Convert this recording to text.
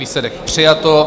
Výsledek: přijato.